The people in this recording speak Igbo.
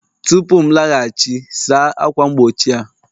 Tupu m alaghachi, saa ákwà mgbochi a!